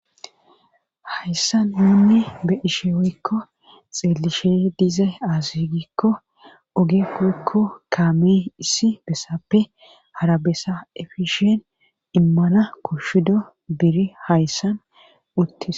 Hayssa nuunni be ishe wyikko xiellishe dize aazigikko oge kukko kaamee issi bessappe harabessa efishien immana koshudo biri hayssan uttis.